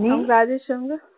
நீ அவுங்க ராஜேஷ் அவுங்க